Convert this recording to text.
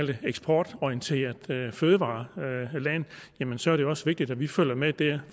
det eksportorienteret fødevareland så er det også vigtigt at vi følger med der